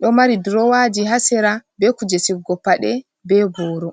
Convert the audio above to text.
ɗo mari drowaji ha sera be kuje sigugo paɗe be boro.